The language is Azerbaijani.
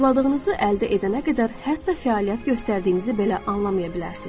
arzuladığınızı əldə edənə qədər hətta fəaliyyət göstərdiyinizi belə anlamaya bilərsiz.